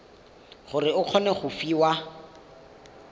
gore o kgone go fiwa